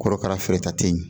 Korokara feereta tɛ yen